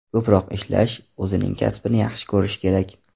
Ko‘proq ishlash, o‘zining kasbini yaxshi ko‘rish kerak.